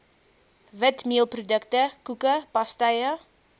witmeelprodukte koeke pastye